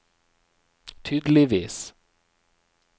tydeligvis